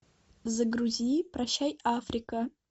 загрузи прощай африка